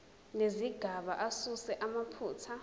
nezigaba asuse amaphutha